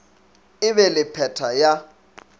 e be le pheta ya